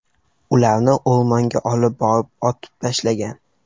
Ularni o‘rmonga olib borib, otib tashlagan.